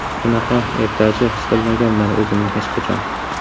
Bunaqa ertachi his qilmaganman o‘zimni hech qachon .